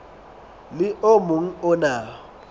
le o mong o na